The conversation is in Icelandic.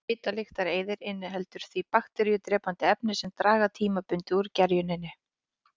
Svitalyktareyðir inniheldur því bakteríudrepandi efni sem draga tímabundið úr gerjuninni.